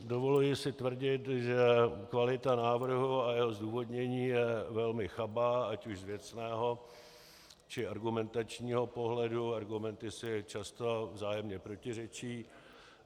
Dovoluji si tvrdit, že kvalita návrhu a jeho zdůvodnění jsou velmi chabé, ať už z věcného či argumentačního pohledu, argumenty si často vzájemně protiřečí.